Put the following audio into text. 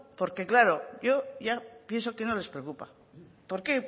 porque claro yo ya pienso que no les preocupa por qué